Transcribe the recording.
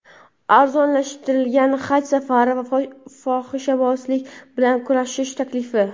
arzonlashadigan Haj safari va fohishabozlik bilan kurashish taklifi.